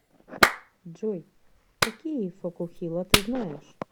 джой какие фокухила ты знаешь